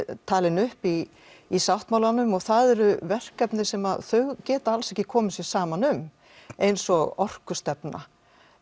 talin upp í í sáttmálanum og það eru verkefni sem þau geta alls ekki komið sér saman um eins og orkustefna